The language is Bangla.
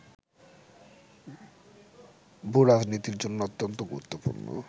ভূরাজনীতির জন্য অত্যন্ত গুরুত্বপূর্ণ